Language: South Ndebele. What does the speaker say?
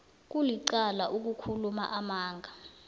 kulicala ukukhuluma amala